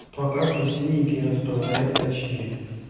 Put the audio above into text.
пока что синенький распознает точнее